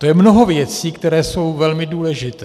To je mnoho věcí, které jsou velmi důležité.